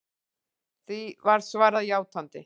Því var svarað játandi.